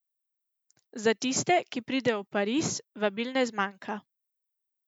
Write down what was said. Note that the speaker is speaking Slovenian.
Za tiste, ki pridejo v Pariz, vabil ne zmanjka.